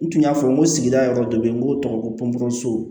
N tun y'a fɔ n ko sigida yɔrɔ dɔ bɛ yen n b'o tɔgɔ fɔ ko pɔnpe so